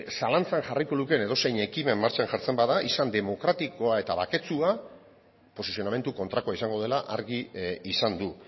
zalantzan jarriko lukeen edozein ekimen martxan jartzen bada izan demokratikoa eta baketsua posizionamendu kontrakoa izango dela argi izan du